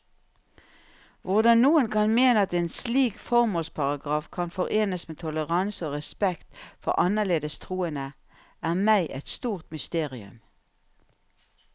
Hvordan noen kan mene at en slik formålsparagraf kan forenes med toleranse og respekt for annerledes troende, er meg et stort mysterium.